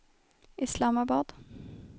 Islamabad